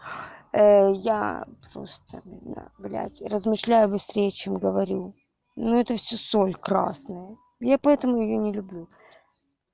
я просто меня блядь размышляю быстрее чем говорю ну это всё соль красные я поэтому её не люблю